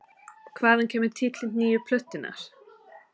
Hvaðan kemur titill nýju plötunnar?